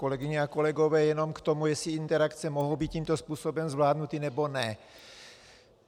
Kolegyně a kolegové, jenom k tomu, jestli interakce mohou být tímto způsobem zvládnuty, nebo ne.